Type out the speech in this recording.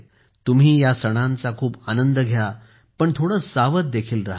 तुम्ही या सणांचा खूप आनंद घ्या पण थोडं सावध देखील राहा